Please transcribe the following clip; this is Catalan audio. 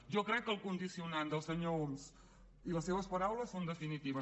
jo crec que el condicionant del senyor homs i les seves paraules són definitives